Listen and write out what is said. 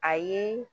Ayi